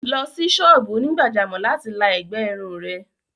Lọ sí sọ́ọ̀bù onígbàjámọ̀ láti la ẹ̀gbẹ́ irun rẹ̀!